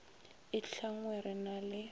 e tlhanngwe re na le